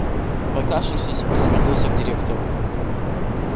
прокашлявшись он обратился к директору